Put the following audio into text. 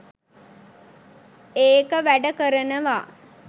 ඒක වැඩ කරනවා